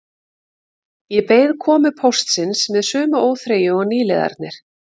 Ég beið komu póstsins með sömu óþreyju og nýliðarnir